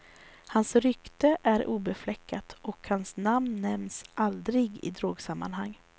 Hans rykte är obefläckat och hans namn nämns aldrig i drogsammanhang.